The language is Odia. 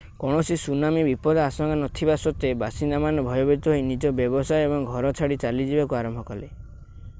କୌଣସି ସୁନାମି ବିପଦ ଆଶଙ୍କା ନଥିବା ସତ୍ଵେ ବାସିନ୍ଦାମାନେ ଭୟଭୀତ ହୋଇ ନିଜ ବ୍ୟବସାୟ ଏବଂ ଘର ଛାଡି ଚାଲିଯିବାକୁ ଆରମ୍ଭ କଲେ